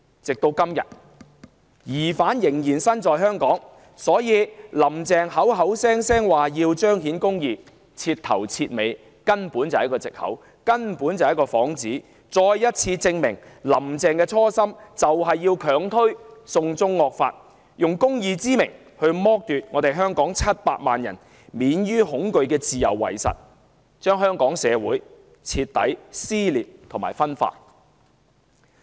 直到今天，疑犯仍然身在香港，可見"林鄭"經常掛在口邊的"彰顯公義"根本是徹頭徹尾的藉口、幌子，亦再次證明"林鄭"的初心是強推"送中惡法"，假公義之名剝奪香港700萬人免於恐懼的自由，令香港社會徹底撕裂和分化。